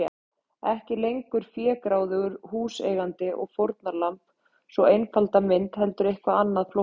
Ekki lengur fégráðugur húseigandi og fórnarlamb, sú einfalda mynd, heldur eitthvað annað, flóknara.